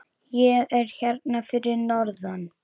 Ég er hérna fyrir norðan.